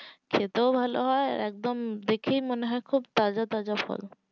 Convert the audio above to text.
খেতেও ভালো হয় আর উম দেখায়ও মনে হয় খুব তাজা তাজা ফল